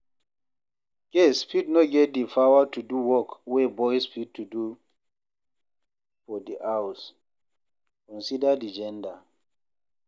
Girls fit no get di power to do work wey boys fit do for di house, consider di gender